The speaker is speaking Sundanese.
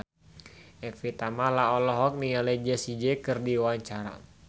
Evie Tamala olohok ningali Jessie J keur diwawancara